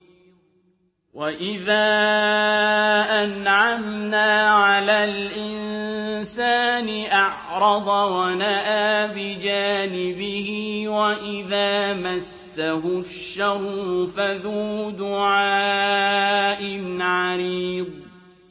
وَإِذَا أَنْعَمْنَا عَلَى الْإِنسَانِ أَعْرَضَ وَنَأَىٰ بِجَانِبِهِ وَإِذَا مَسَّهُ الشَّرُّ فَذُو دُعَاءٍ عَرِيضٍ